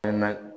Kɛnɛma